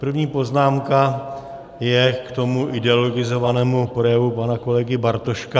První poznámka je k tomu ideologizovanému projevu pana kolegy Bartoška.